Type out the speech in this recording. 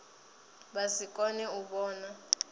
vha si kone u vhona